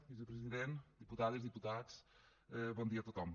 vicepresident diputades diputats bon dia a tothom